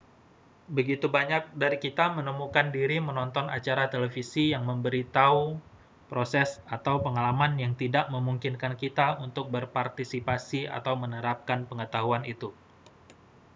begitu banyak dari kita menemukan diri menonton acara televisi yang memberi thau proses atau pengalaman yang tidak memungkinkan kita untuk berpartisipasi atau menerapkan pengetahuan itu